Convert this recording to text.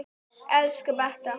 Elsku Beta.